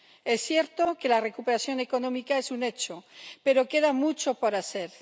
Es cierto que la recuperación económica es un hecho, pero queda mucho por hacer.